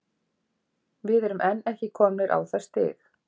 Við erum enn ekki komnir á það stig.